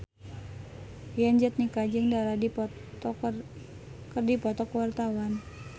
Yayan Jatnika jeung Dara keur dipoto ku wartawan